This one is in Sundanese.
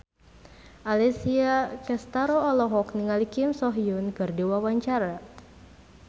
Alessia Cestaro olohok ningali Kim So Hyun keur diwawancara